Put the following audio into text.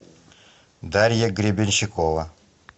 дарья гребенщикова